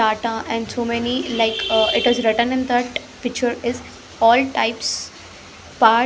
Data and so many like it is written in that picture is all types pa --